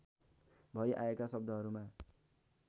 भई आएका शब्दहरूमा